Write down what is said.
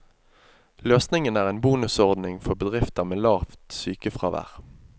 Løsningen er en bonusordning for bedrifter med lavt sykefravær.